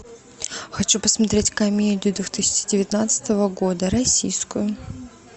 хочу посмотреть комедию две тысячи девятнадцатого года российскую